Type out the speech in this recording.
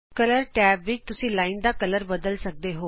ਰੰਗਾਂ ਦੇ ਟੈਬ ਵਿਚ ਤੁਸੀਂ ਲਾਈਨ ਦਾ ਰੰਗ ਬਦਲ ਸਕਦੇ ਹੋ